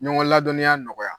Ɲɔgɔn ladɔniya nɔgɔya